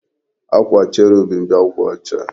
Akwa cherubim bụ akwa ọcha